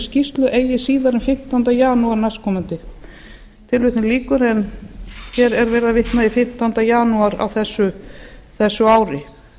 skýrslu eigi síðar en fimmtánda janúar næstkomandi hér er verið að vitna í fimmtánda janúar á þessu ári